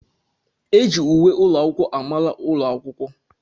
Eji uwe ụlọ akwụkwọ mara ụlọ akwụkwọ.